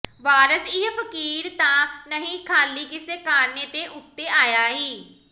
ਵਾਰਸ ਇਹ ਫਕੀਰ ਤਾਂ ਨਹੀਂ ਖਾਲੀ ਕਿਸੇ ਕਾਰਨੇ ਤੇ ਉਤੇ ਆਇਆ ਈ